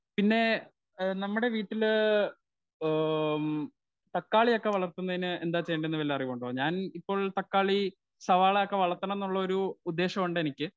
Speaker 1 പിന്നെ ഏ നമ്മുടെ വീട്ടിലേ ഓ ഉം തക്കാളിയൊക്കെ വളർത്തുന്നതിന് എന്താ ചെയേണ്ടതെന്നു വല്ല അറിവുമുണ്ടോ? ഞാൻ ഇപ്പോൾ തക്കാളി, സവാളയൊക്കെ വളർത്തണമെന്നുള്ളൊരു ഒരു ഉദ്ദേശമുണ്ടെനിക്ക് .